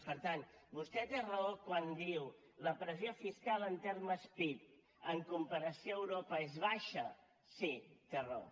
per tant vostè té raó quan diu la pressió fiscal en termes pib en comparació a europa és baixa sí té raó